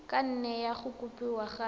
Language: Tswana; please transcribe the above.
ka nne ya kopiwa gape